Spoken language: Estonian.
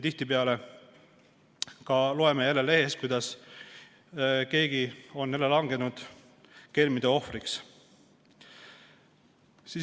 Tihtipeale loeme lehest, kuidas keegi on jälle langenud kelmide ohvriks.